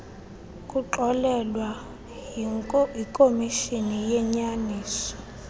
kuxolelwa yikomishoni yenyaniso